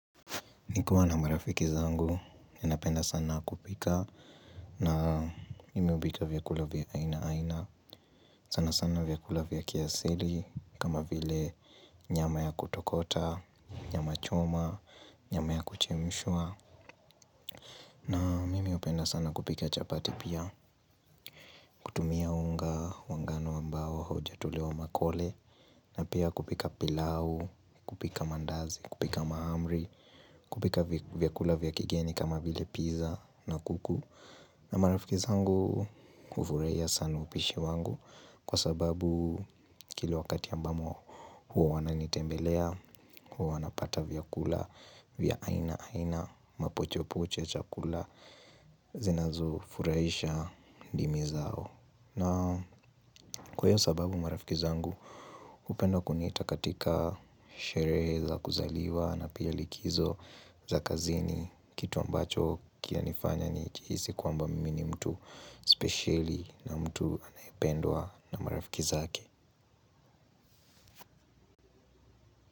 Nikiwa na marafiki zangu, ninapenda sana kupika, na mimi hupika vyakula vya aina aina. Sana sana vyakula vya kiasili, kama vile nyama ya kutokota, nyama choma, nyama ya kuchemshwa. Na mimi hupenda sana kupika chapati pia, kutumia unga wa ngano ambao haujatolewa makole. Na piya kupika pilau, kupika mandazi, kupika mahamri, kupika vyakula vya kigeni kama vile pizza na kuku. Marafiki zangu hufurahiya sana upishi wangu kwa sababu kila wakati ambamo huwa wananitembelea, huwa wanapata vya kula, vya aina, aina, mapochopocho, chakula, zinazo furahisha dimi zao. Na kwa hiyo sababu marafiki zangu hupenda kuniita katika sherehe za kuzaliwa na piya likizo za kazini kitu ambacho kinanifanya nijihisi kwamba mimi ni mtu spesheli na mtu ambaye anapendwa na marafiki zake.